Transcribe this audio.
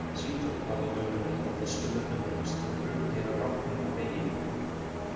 Svíþjóð varð á dögunum eitt af fyrstu löndum heims til að prufukeyra rafknúna vegi.